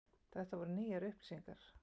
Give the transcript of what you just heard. Þetta voru nýjar upplýsingar.